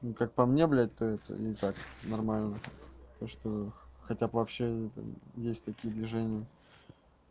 ну как по мне блядь то это и так нормально то что хотя бы вообще есть такие движения